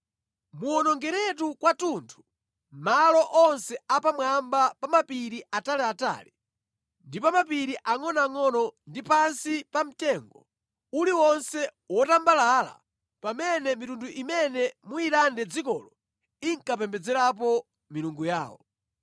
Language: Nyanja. Muwonongeretu kwathunthu malo onse a pamwamba pa mapiri ataliatali ndi pa mapiri angʼonoangʼono ndi pansi pa mtengo uliwonse wotambalala pamene mitundu imene muyilande dzikolo ankapembedzerapo milungu yawo.